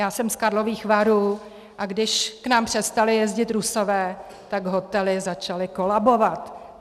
Já jsem z Karlových Varů, a když k nám přestali jezdit Rusové, tak hotely začaly kolabovat.